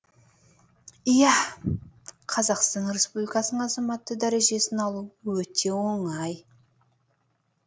иә қазақстан республикасының азаматы дәрежесін алу өте оңай